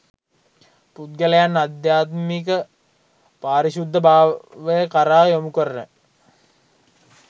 පුද්ගලයන් අධ්‍යාත්මික පාරිශුද්ධ භාවය කරා යොමුකරන